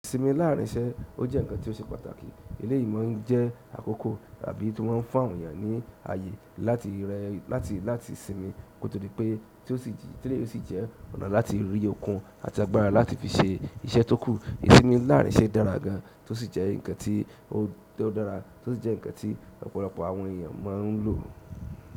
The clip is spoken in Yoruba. Ìsinmi láàárín iṣẹ́, ó jẹ́ ǹkan tó ṣe pàtàkì. Eléyìí ma ń jẹ́ àkókò tàbí tí wọ́n ń fún àwọn èèyàn ní ayé láti rẹ, láti láti sinmi. Kó tó di pé, tí ó sì, téléyìí ósì jẹ́ ọ̀nà láti rí okun àti agbára láti fi ṣe iṣẹ́ tó kù. Ìsinmi láàárín iṣẹ́ dára gan, tó sì jẹ́ ǹkan tí ó tó dára, tó sì jẹ́ ǹkan tí ọ̀pọ̀lọpọ̀ àwọn èèyàn máa ń lò.